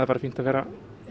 bara fínt að vera